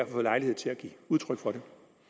fået lejlighed til at give udtryk for det